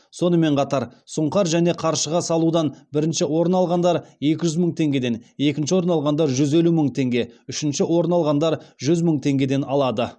сонымен қатар сұңқар және қаршыға салудан бірінші орын алғандар екі жүз мың теңгеден екінші орын алғандар жүз елу мың теңге үшінші орын алғандар жүз мың теңгеден алады